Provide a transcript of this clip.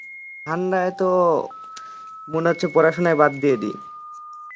ঠান্ডায় তো মনে হচ্ছে পড়াশুনাই বাদ দিয়ে দি